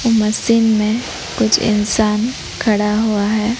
Machine में कुछ इंसान खड़ा हुआ है।